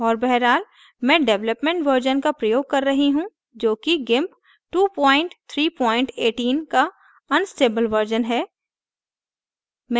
और बहरहाल मैं development version का प्रयोग कर रही हूँ जो कि gimp 2318 का unstable version है